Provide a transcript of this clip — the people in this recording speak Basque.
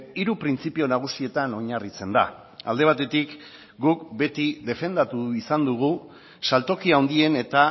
hiru printzipio nagusietan oinarritzen da alde batetik guk beti defendatu izan dugu saltoki handien eta